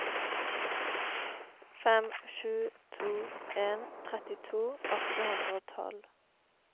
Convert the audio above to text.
fem sju to en trettito åtte hundre og tolv